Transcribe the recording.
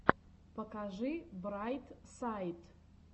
покажи брайт сайд